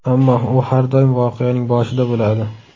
Ammo, u har doim voqeaning boshida bo‘ladi.